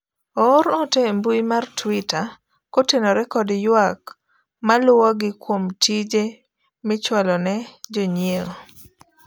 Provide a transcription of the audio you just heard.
oer ote e mbui mar twita kotenore kod ywak maluwogi kuom tije michwalo ne jonyiewo